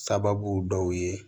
Sababu dɔw ye